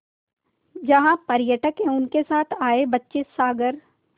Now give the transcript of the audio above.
जहाँ पर्यटक एवं उनके साथ आए बच्चे सागर